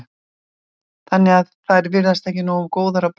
Þannig að þær verða ekki nógu góðar á bragðið?